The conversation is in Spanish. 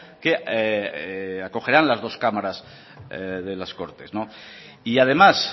que acogerán las dos cámaras de las cortes y además